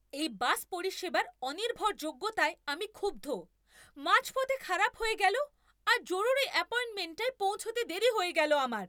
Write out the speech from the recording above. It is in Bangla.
এই বাস পরিষেবার অনির্ভরযোগ্যতায় আমি ক্ষুব্ধ। মাঝপথে খারাপ হয়ে গেল আর জরুরি অ্যাপয়েন্টমেন্টটায় পৌঁছতে দেরি হয়ে গেল আমার!